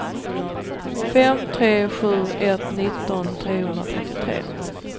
fem tre sju ett nitton trehundratrettiotre